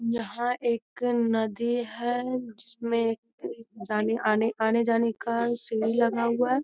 यहाँ एक नदी है जिसमें कोई जाने-आने आने-जाने का सीढ़ी लगा हुआ है।